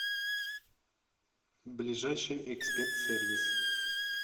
ближайший эксперт сервис